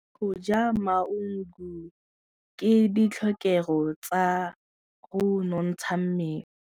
Go ja maungo ke ditlhokegô tsa go nontsha mmele.